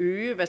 øge man